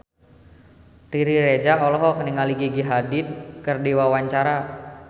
Riri Reza olohok ningali Gigi Hadid keur diwawancara